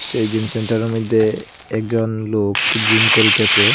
এই জিম সেন্টারের মইধ্যে একজন লোক জিম করিতেছে।